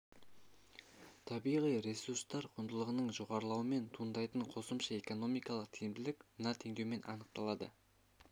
табиғи ресурстар құндылығының жоғарылауынан туындайтын қосымша экономикалық тиімділік мына теңдеумен анықталады